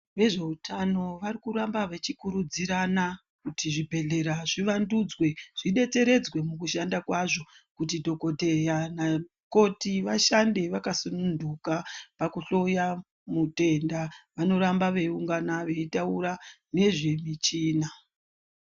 Vezveutano varikuramba vechikurudzirana kuti zvibhedhlera zvivandudzwe zvidetseredzwe kushanda kwazvo kuti dhokodheya namukoti vashande vakasununguka pakuhloya mutenda vanoramba veiungana veitaura nezvemichina.